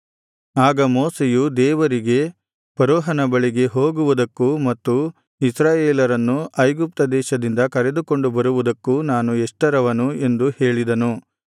ಆಗ ಮೋಶೆಯು ದೇವರಿಗೆ ಫರೋಹನ ಬಳಿಗೆ ಹೋಗುವುದಕ್ಕೂ ಮತ್ತು ಇಸ್ರಾಯೇಲರನ್ನು ಐಗುಪ್ತದೇಶದಿಂದ ಕರೆದುಕೊಂಡು ಬರುವುದಕ್ಕೂ ನಾನು ಎಷ್ಟರವನು ಎಂದು ಹೇಳಿದನು